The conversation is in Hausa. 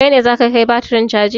Kai ne za ka kai batirin caji?